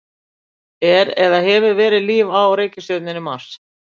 Er eða hefur verið líf á reikistjörnunni Mars?